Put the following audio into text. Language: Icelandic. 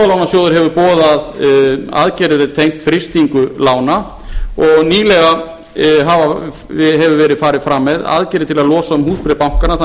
íbúðalánasjóður hefur boðað aðgerðir tengt frystingu lána og nýlega hefur verið farið fram með aðgerðir til að losa um húsbréf bankanna þannig